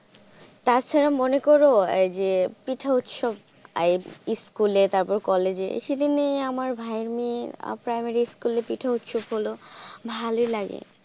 তাছাড়া মনে করো এই যে পিঠা উৎসব স্কুলে তারপর কলেজে এই সেদিনে আমার ভাইয়ের মেয়ে প্রাইমারি স্কুলে পিঠা উৎসব হল ভালোই লাগে।